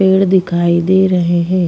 पेड़ दिखाई दे रहे है।